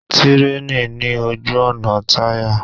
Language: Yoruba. Tírèènì ní ojú-ọ̀nà tirẹ̀.